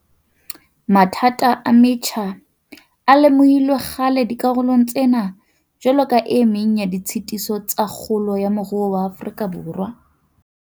Mathata a metjha a lemohilwe kgale dikarolong tsena jwalo ka e meng ya ditshitiso tsa kgolo ya moruo wa Afrika Borwa.